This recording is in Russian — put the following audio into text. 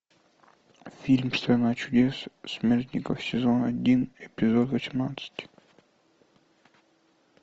фильм страна чудес смертников сезон один эпизод восемнадцать